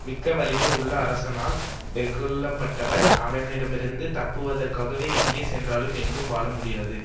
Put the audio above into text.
மிக்க வலிமை உள்ள அரசனால் வெகுளப்பட்டவர் அவனிடமிருந்து தப்புவதற்க்காக எங்கே சென்றாலும் எங்கும் வாழ முடியாது